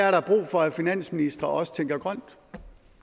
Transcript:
er brug for at finansministre også tænker grønt